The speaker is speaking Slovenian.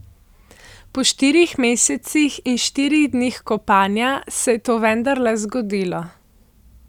Po štirih mesecih in štirih dneh kopanja se je to vendarle zgodilo.